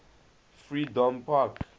freedompark